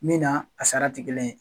Min na a sara tɛ kelen yen.